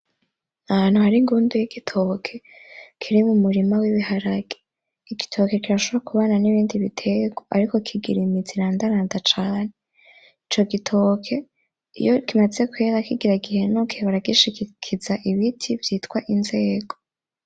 Ahantu hari ingundu y'igitoki kiri mumurima w'ibiharage, igitoki kirashobora kubana n'ibindi bitegwa ariko kigira imizi irandaranda cane ico gitoke iyo kimaze kwera kigira guhenuke baragishigikiza ibiti vyitwa inzego.